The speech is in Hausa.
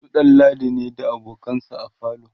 su ɗanladi ne da abokansa a falo